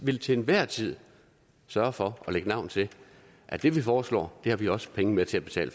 vil til enhver tid sørge for at lægge navn til at det vi foreslår har vi også penge med til at betale